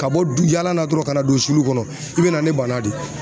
Ka bɔ du yaala la dɔrɔn ka na don sulu kɔnɔ i bɛ na ni bana de ye.